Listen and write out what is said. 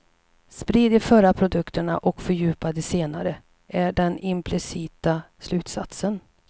Sprid de förra produkterna och fördjupa de senare, är den implicita slutsatsen.